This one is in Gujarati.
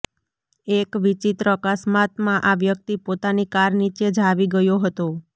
એક વિચિત્ર અકસ્માતમાં આ વ્યક્તિ પોતાની કાર નીચે જ આવી ગયો હતો